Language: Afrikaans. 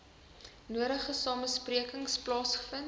nodige samesprekings plaasgevind